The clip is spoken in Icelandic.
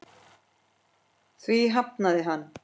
Því hafnaði hann.